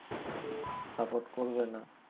support করবে না